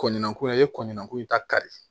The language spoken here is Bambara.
Kɔnnan ko e ye kɔnninko in ta kari